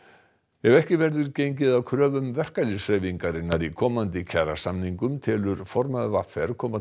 ef ekki verður gengið að kröfum verkalýðshreyfingarinnar í komandi kjarasamningum telur formaður v r koma til